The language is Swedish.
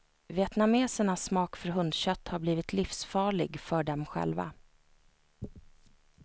Vietnamesernas smak för hundkött har blivit livsfarlig för dem själva.